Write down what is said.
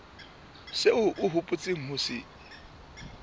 seo o hopotseng ho se